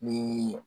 Ni